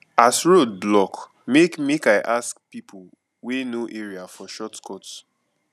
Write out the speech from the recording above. as road block make make i ask pipo wey know area for shortcut